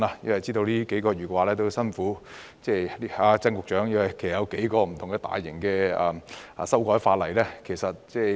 我知道他這數個月很辛苦，因為同時有數項大型的修例工作正在進行。